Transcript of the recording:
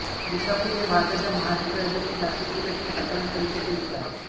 विसापूर हे भारताच्या महाराष्ट्र राज्यातील नाशिक जिल्ह्यातील सटाणा तालुक्यातील एक गाव आहे